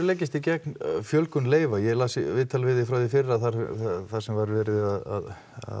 leggist þið gegn fjölgun leyfa ég las viðtal við þig frá því í fyrra þar þar sem var verið að